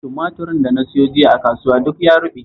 Tumaturin da na sayo a kasuwa jiya duk ya ruɓe